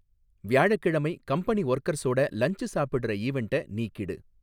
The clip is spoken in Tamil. வியாழக்கிழமை கம்பெனி ஒர்கர்ஸோட லன்ச் சாப்பிடற ஈவென்ட்ட நீக்கிடு